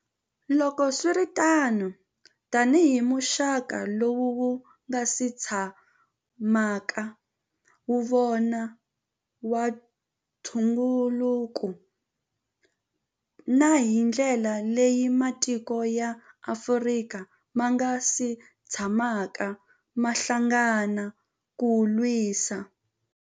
Loko swi ri tano, tanihi muxaka lowu wu nga si tsha maka wu va kona wa ntu ngukulu, na hi ndlela leyi matiko ya Afrika ma nga si tshamaka ma hlangana ku wu lwisa.